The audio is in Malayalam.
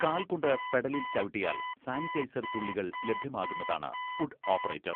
കാൽ കൊണ്ട് പെഡലിൽ ചവിട്ടിയാൽ സാനിറ്റൈസർ തുള്ളിക ലഭ്യമാകുന്നതാണ് ഫുട്ട് ഓപ്പറേറ്റർ.